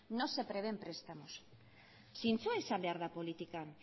no se prevén prestamos zintzoa izan behar da politikan